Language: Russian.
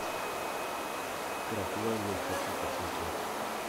крапленый хочу посмотреть